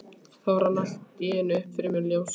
Þá rann allt í einu upp fyrir mér ljós.